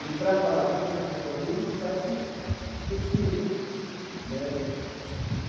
E, para falar aquilo que as pessoas quer ouvir, a gente faz-se pesquisa né.